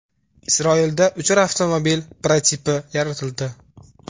Isroilda uchar avtomobil prototipi yaratildi.